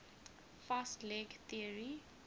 fast leg theory